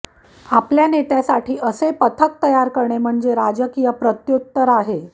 आपल्या नेत्यासाठी असे पथक तयार करणे म्हणजे हे राजकीय प्रत्युत्तर आहे